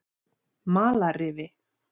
Malarrifi